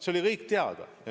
See oli kõik teada.